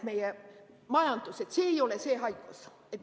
Ma arvan, et see ei ole see haigus.